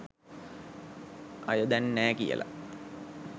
අය දැන් නෑ කියලා.